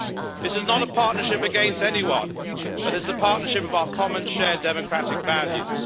This is not a partnership against anyone, but it is a partnership of our common, shared democratic values.